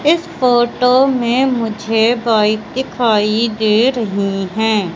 इस फोटो में मुझे बाइक दिखाई दे रही हैं।